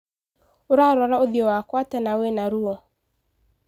Ũrarora ũthio wakwa atĩa na wĩna ruo.